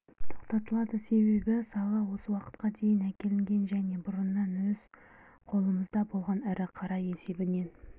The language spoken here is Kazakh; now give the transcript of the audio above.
тоқтатылады себебі сала осы уақытқа дейін әкелінген және бұрыннан өз қолымызда болған ірі қара есебінен